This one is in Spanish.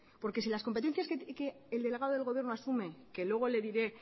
porque si las competencias que el delegado del gobierno asume que luego le diré